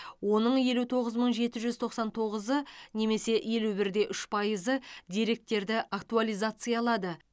оның елу тоғыз мың жеті жүз тоқсан тоғызы немесе елу бір де үш пайызы деректерді актуализациялады